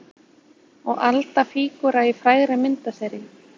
Og Alda fígúra í frægri myndaseríu.